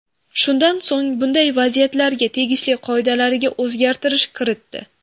Shundan so‘ng, bunday vaziyatlarga tegishli qoidalariga o‘zgartirish kiritdi.